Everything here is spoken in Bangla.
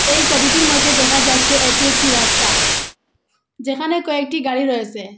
এই ছবিটির মধ্যে দেখা যাচ্ছে এটি একটি রাস্তা যেখানে কয়েকটি গাড়ি রয়েছে।